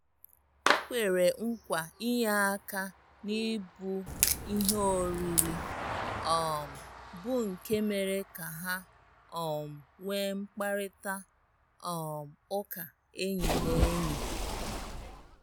O kwere nkwa inye aka na-ebu ihe oriri, um bụ́ nke mere ka ha um nwee mkparịta um ụka enyi na enyi.